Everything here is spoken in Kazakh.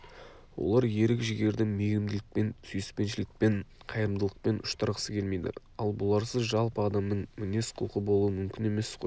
олар ерік-жігерді мейірімділікпен сүйіспеншілікпен қайырымдылықпен ұштастырғысы келмейді ал бұларсыз жалпы адамның мінез-құлқы болуы мүмкін емес қой